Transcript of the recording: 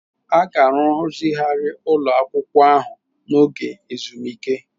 A ga-arụzigharị ụlọ akwụkwọ ahụ n'oge ezumike.